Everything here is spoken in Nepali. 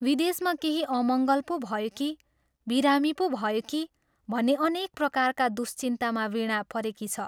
विदेशमा केही अमङ्गल पो भयो कि बिरामी पो भयो कि भन्ने अनेक प्रकारका दुश्चिन्तामा वीणा परेकी छ।